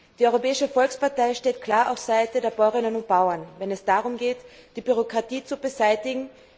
Die Europäische Volkspartei steht klar auf der Seite der Bäuerinnen und Bauern, wenn es darum geht, die Bürokratie zu beseitigen.